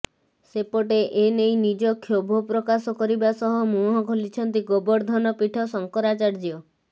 ସେପଟେ ଏନେଇ ନିଜ କ୍ଷୋଭ ପ୍ରକାଶ କରିବା ସହ ମୁହଁ ଖୋଲିଛନ୍ତି ଗୋବର୍ଦ୍ଧନପୀଠ ଶଙ୍କରାଚାର୍ଯ୍ୟ